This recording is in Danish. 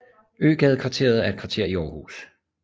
Øgadekvarteret er et kvarter i Aarhus